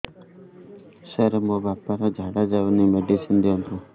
ସାର ମୋର ବାପା ର ଝାଡା ଯାଉନି ମେଡିସିନ ଦିଅନ୍ତୁ